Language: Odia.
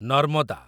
ନର୍ମଦା